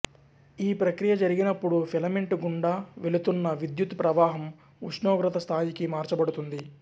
ఈ ప్రక్రియ జరిగినప్పుడు ఫిలమెంటు గుండా వెళుతున్న విద్యుత్ ప్రవాహం ఉష్ణోగ్రత స్థాయికి మార్చబడుతుంది